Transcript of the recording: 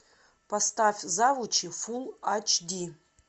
поставь завучи фулл ач ди